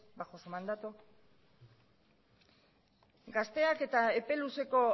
bajo su mandato gazteak eta epe luzeko